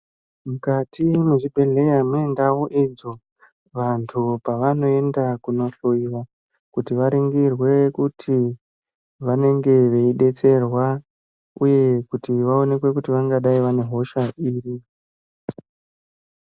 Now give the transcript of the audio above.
Mukati mwezvibhedheya mune ndau idzo, vanhu pavanoenda kunohloiwa, kuti varingirwe kuti vanenge veidetserwa, uye kuti vaonekwe kuti vangadai vane hosha iri.